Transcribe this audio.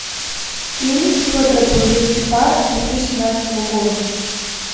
фильм федора бондарчука две тысячи семнадцатого года